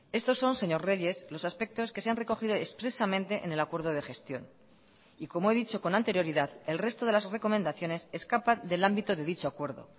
estos son señor reyes los aspectos que se han recogido expresamente en el acuerdo de gestión y como he dicho con anterioridad el resto de las recomendaciones escapan del ámbito de dicho acuerdo